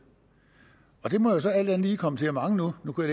og det må så alt andet lige komme til at mangle nu nu kunne